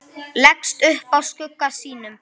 Leggst upp að skugga sínum.